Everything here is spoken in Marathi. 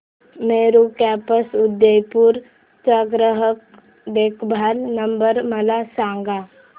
मेरू कॅब्स उदयपुर चा ग्राहक देखभाल नंबर मला सांगा